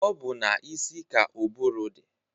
Ọ bụ n'isi ka ụbụrụ dị.